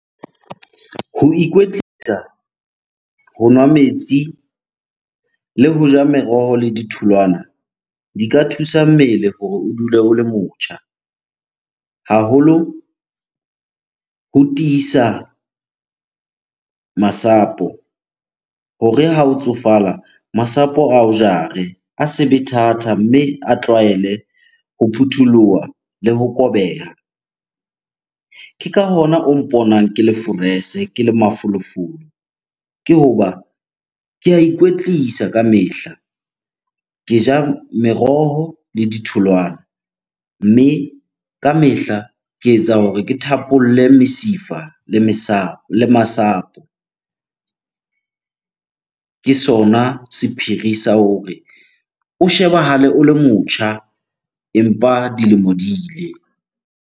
Ho ikwetlisa, ho nwa metsi le ho ja meroho le ditholwana di ka thusa mmele hore o dule o le motjha. Haholo o tiisa masapo hore ha o tsofala, masapo ao jare, a se be thata mme a tlwaele ho phuthuloha le ho kobeha. Ke ka hona o mponang ke le forese, ke le mafolofolo, ke hoba ke a ikwetlisa kamehla. Ke ja meroho le ditholwana. Mme kamehla ke etsa hore ke thapolle mesifa le masapo. Ke sona sephiri sa hore o shebahale o le motjha empa dilemo di ile.